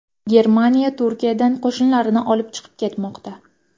Germaniya Turkiyadan qo‘shinlarini olib chiqib ketmoqda.